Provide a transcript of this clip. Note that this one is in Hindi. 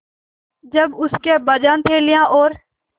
जब उसके अब्बाजान थैलियाँ और